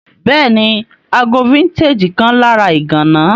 Béèni, ago vintage kan lára ìgana